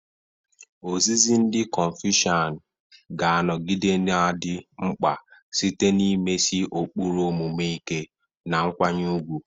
Ozizi ndị konfusian ga-anọgide na-adị mkpa site n'imesi ụkpụrụ omume ike, na nkwanye ùgwù.